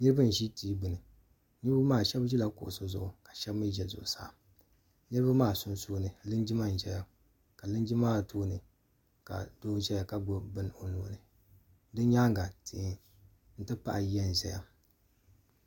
niraba n ʒi tia gbuni niraba maa shab ʒila kuɣu zuɣu ka shab mii ʒɛ zuɣusaa niraba maa sunsuuni linjima n ʒɛya ka linjima maa tooni ka doo ʒɛya ka gbubi bini o nuuni bi nyaanga tihi ti pahi yiya n ʒɛya